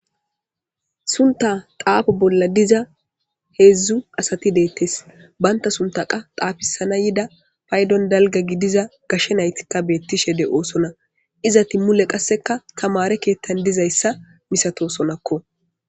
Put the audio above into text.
Sunta xaafo bolla diza heedzdzu asati deettes banta sunta qa xaafisana yida paydon dalga gidiza gashshe naytikka beettishe de oosona izati mule qasseka tamare keettan dizayssa misatosonakko